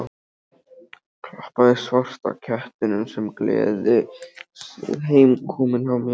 Klappaði svarta kettinum sem gerði sig heimakominn hjá mér.